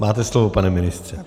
Máte slovo, pane ministře.